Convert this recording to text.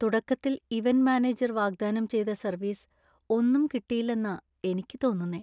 തുടക്കത്തിൽ event manager വാഗ്ദാനം ചെയ്ത സര്‍വീസ് ഒന്നും കിട്ടിയില്ലെന്നാ എനിക്ക് തോന്നുന്നേ.